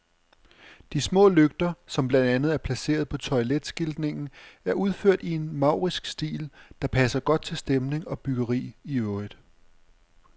De små lygter, som blandt andet er placeret på toiletskiltningen, er udført i en maurisk stil, der passer godt til stemning og byggeri i øvrigt.